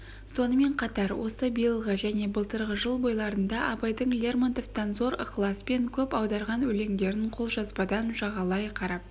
сонымен қатар осы биылғы және былтырғы жыл бойларында абайдың лермонтовтан зор ықыласпен көп аударған өлеңдерін қолжазбадан жағалай қарап